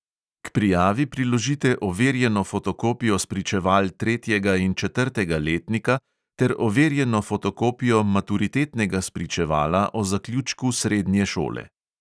K prijavi priložite overjeno fotokopijo spričeval tretjega in četrtega letnika ter overjeno fotokopijo maturitetnega spričevala o zaključku srednje šole.